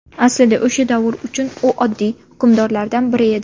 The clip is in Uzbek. Aslida, o‘sha davr uchun u oddiy hukmdorlardan biri edi.